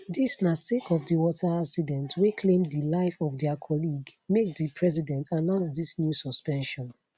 dis na sake of di water accident wey claim di life of dia colleague make di president announce dis new suspension